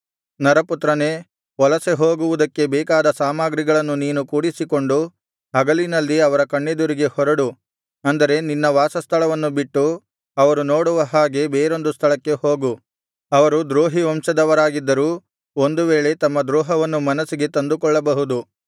ನರಪುತ್ರನೇ ವಲಸೆಹೋಗುವುದಕ್ಕೆ ಬೇಕಾದ ಸಾಮಗ್ರಿಗಳನ್ನು ನೀನು ಕೂಡಿಸಿಕೊಂಡು ಹಗಲಿನಲ್ಲಿ ಅವರ ಕಣ್ಣೆದುರಿಗೆ ಹೊರಡು ಅಂದರೆ ನಿನ್ನ ವಾಸಸ್ಥಳವನ್ನು ಬಿಟ್ಟು ಅವರು ನೋಡುವ ಹಾಗೆ ಬೇರೊಂದು ಸ್ಥಳಕ್ಕೆ ಹೋಗು ಅವರು ದ್ರೋಹಿ ವಂಶದವರಾಗಿದ್ದರೂ ಒಂದು ವೇಳೆ ತಮ್ಮ ದ್ರೋಹವನ್ನು ಮನಸ್ಸಿಗೆ ತಂದುಕೊಳ್ಳಬಹುದು